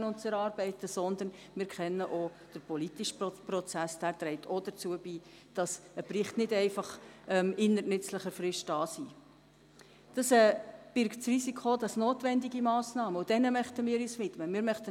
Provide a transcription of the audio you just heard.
Wenn Sie in irgendeiner öffentlichen Funktion sind, die mit Bildung zu tun hat, können Sie nicht öffentlich sagen, es stimme mit der Qualität nicht.